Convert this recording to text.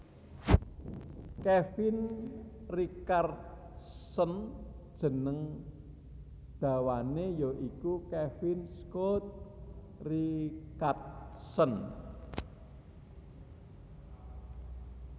Kevin Richardson jeneng dawané ya iku Kevin Scott Richardson